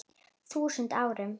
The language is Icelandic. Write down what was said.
þúsund árum.